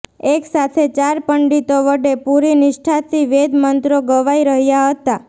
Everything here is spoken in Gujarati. એકસાથે ચાર પંડિતો વડે પૂરી નિષ્ઠાથી વેદમંત્રો ગવાઈ રહ્યાં હતાં